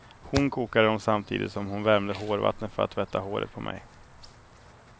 Hon kokade dem samtidigt som hon värmde hårvatten för att tvätta håret på mig.